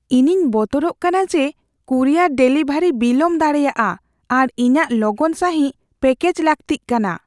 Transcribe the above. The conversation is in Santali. ᱤᱧᱤᱧ ᱵᱚᱛᱚᱨᱚᱜ ᱠᱟᱱᱟ ᱡᱮ ᱠᱩᱨᱤᱭᱟᱨ ᱰᱮᱞᱤᱵᱷᱟᱨᱤ ᱵᱤᱞᱚᱢ ᱫᱟᱲᱮᱭᱟᱜᱼᱟ ᱟᱨ ᱤᱧᱟᱹᱜ ᱞᱚᱜᱚᱱ ᱥᱟᱹᱦᱤᱡ ᱯᱮᱠᱮᱡ ᱞᱟᱹᱠᱛᱤᱜ ᱠᱟᱱᱟ ᱾